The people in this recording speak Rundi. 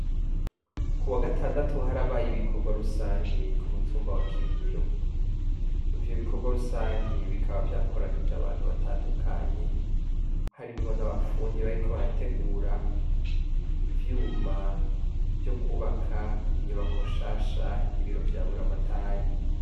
Kuwagatandatu harabaye ibikorwa rusangi kumutumba wa kirimiro, ivyo bikorwa rusangi bikaba vyakoranije abantu batandukanye harimwo n'abafundi bariko barategura ivyuma vyo kubaka inyubako nshasha y'ibiro vya buramatari.